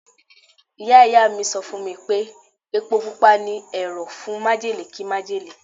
Ìyá Ìyá mi sọ fún mi pé Epo Pupa ni ẹ̀rọ̀ fún májèlé kí májèlé.